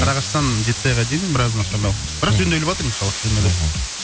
сарыағаштан жетісайға дейін біраз нашарлау бірақ жөнделіватыр иншаллах мхм жөнделеді